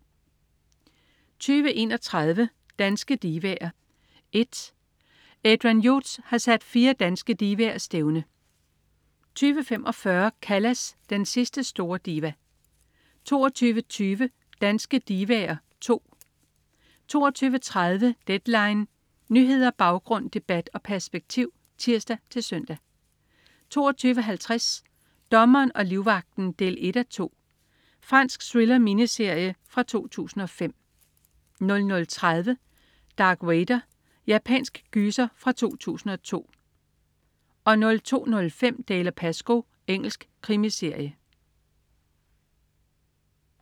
20.31 Danske divaer I. Adrian Hughes har sat fire danske divaer stævne 20.45 Callas, den sidste store diva 22.20 Danske divaer II 22.30 Deadline. Nyheder, baggrund, debat og perspektiv (tirs-søn) 22.50 Dommeren og livvagten 1:2. Fransk thriller-miniserie fra 2005 00.30 Dark Water. Japansk gyser fra 2002 02.05 Dalziel & Pascoe. Engelsk krimiserie